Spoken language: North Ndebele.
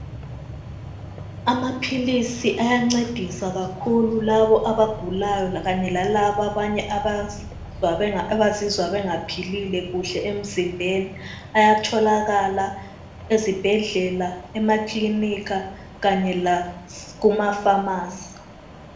Amaphilisi ayancedisa kakhulu labo abagulayo kanye lalabo abanye abazizwa bengaphilile kuhle emzimbeni ayatholakala ezibhedlela emakilinika kanye lakumafamasi.